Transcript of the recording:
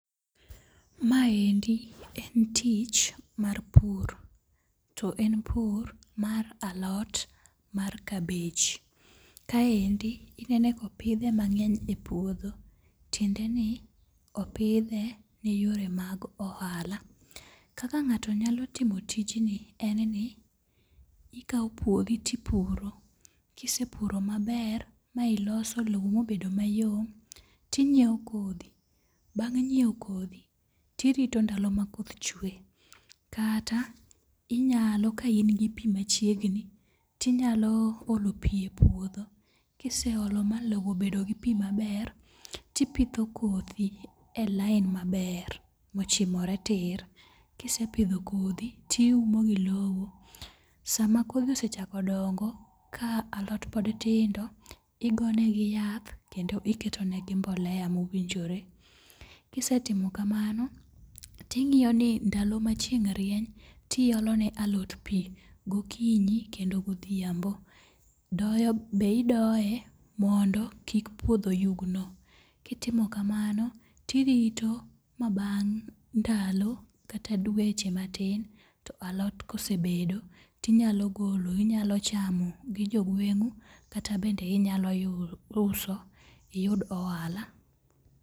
Maendi en tich mar pur, to en pur mar alot mar kabej. Kaendi inene kopidhe mang'eny e puodho, tiendeni opidhe ni yore mag ohala. Kaka ng'ato nyalo timo tijni en ni ikawo puothi tipuro. Kisepuro maber, ma iloso lowo ma obedo mayom, tinyiewo kodhi . Bang' nyiewo kodhi, tiriro ndalo ma koth chwe. Kata, inyalo ka in gi pi machiegni, tinyalo olo pi e puodho ,kiseolo malowo obedo gi pi maber. tipidho kodhi e lain maber mochimore tir. Kisepidho kodhi, tiumo gi lowo. Sama koro osechako dongo ka alot pod tindo, igonegi yath kendo iketo negi mbolea mowinjore. Kisetimo kamano ting'iyo ni ndalo machieng' rieny, tiolo ne alot pi, gokinyi kendo godhiambo. Doyo be idoye mondo kik puodho yugno. Kitimo kamano, tirito ma bang' ndalo kata dweche matin to alot kosebedo ,tinyalo golo, inyalo chamo gi jogweng'u kata bende inyalo uso iyud ohala.